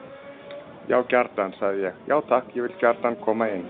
Já gjarnan, sagði ég: Já takk, ég vil gjarnan koma inn.